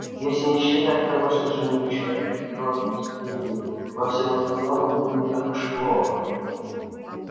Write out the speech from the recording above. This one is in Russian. если не считать того что жених-человек без роду без племени во всем остальном он был не так уж плох